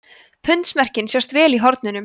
pundsmerkin sjást vel í hornunum